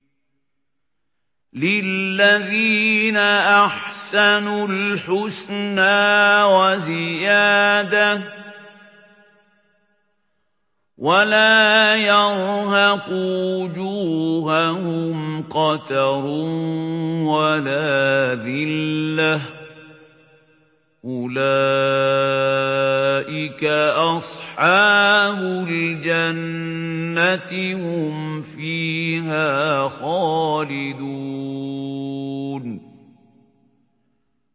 ۞ لِّلَّذِينَ أَحْسَنُوا الْحُسْنَىٰ وَزِيَادَةٌ ۖ وَلَا يَرْهَقُ وُجُوهَهُمْ قَتَرٌ وَلَا ذِلَّةٌ ۚ أُولَٰئِكَ أَصْحَابُ الْجَنَّةِ ۖ هُمْ فِيهَا خَالِدُونَ